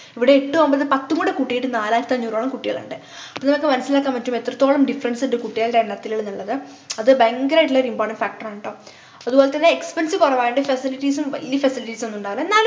ഇവിടെ എട്ടും ഒമ്പതും പത്തും കൂടെ കൂട്ടീട്ട് നാലായിരത്തിഅഞ്ഞൂറോളം കുട്ടികളുണ്ട് അപ്പൊ നിങ്ങൾക്ക് മനസിലാക്കാൻ പറ്റും എത്രത്തോളം difference ഉണ്ട് കുട്ടികളുടെ എണ്ണത്തില്ന്നുള്ളത് അത് ഭയങ്കരയിട്ടുള്ള ഒരു important factor ആണ് ട്ടോ അതുപോലെതന്നെ expense കൊറവായോണ്ട് facilities ഉം വല്യ facilities ഒന്നും ഉണ്ടാവില്ല ന്നാലും